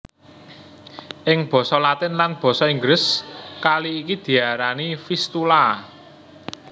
Ing basa Latin lan basa Inggris kali iki diarani Vistula